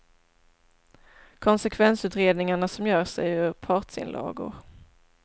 Konsekvensutredningarna som görs är ju partsinlagor.